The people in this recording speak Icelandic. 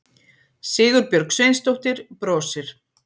Sigurbjörg Sveinsdóttir brosir.